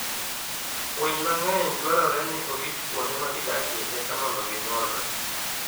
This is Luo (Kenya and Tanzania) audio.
Winy mang'eny dwarore ni orit kuonde ma gidakie eka mondo ginyuolre.